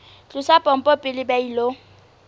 tlosa pompo pele ba ilo